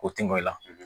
O tɛmɛn